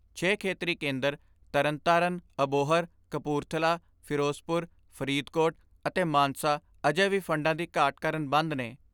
ਛੇ ਖੇਤਰੀ ਕੇਂਦਰ ਤਰਨਤਾਰਨ, ਅਬੋਹਰ, ਕਪੂਰਥਲਾ, ਫਿਰੋਜ਼ਪੁਰ, ਫਰੀਦਕੋਟ ਅਤੇ ਮਾਨਸਾ ਅਜੇ ਵੀ ਫੰਡਾਂ ਦੀ ਘਾਟ ਕਾਰਨ ਬੰਦ ਨੇ।